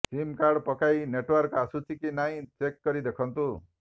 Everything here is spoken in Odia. ସିମ୍ କାର୍ଡ ପକାଇ ନେଟୱର୍କ ଆସୁଛି କି ନାହିଁ ଚେକ୍ କରି ଦେଖନ୍ତୁ